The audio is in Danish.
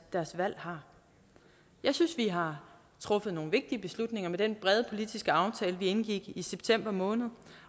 valg har jeg synes vi har truffet nogle vigtige beslutninger med den brede politiske aftale vi indgik i september måned